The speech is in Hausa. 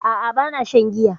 A'a ba na shan giya